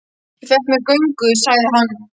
Ég fékk mér göngu, sagði hann.